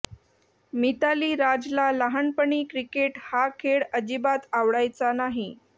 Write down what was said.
मिताली राजला लहानपणी क्रिकेट हा खेळ अजिबात आवडायचा नाही